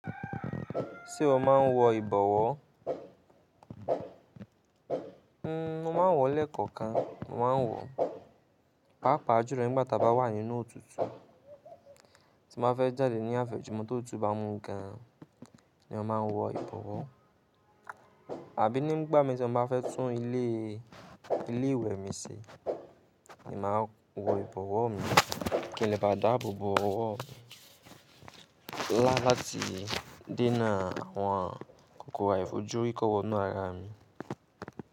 Ṣé o máa ń wọ ìbọwọ́? Mo máa ń wọ̀ lẹ́ẹ̀kọ̀ọkan. Mo máa ń wọ̀, pàápàá julo nígbà tí a bá wà nínú òtútù, tí mo ba fẹ́ jáde ní afẹ̀júmọ̀ ti otutú bá mú gan-an ni mo máa ń wọ ìbọwọ́. Àbí nígbà mii ti mo ba fẹ́ tún ilé, ilé ìwè mi ṣe ni máa n wọ ìbọwọ́ mi. Kí n lé bá dáàbò bo ọwọ́ mi. Lá láti dènà àwọn kòkòrò àìfojúrí kọ́ wọ́ inú ara mi.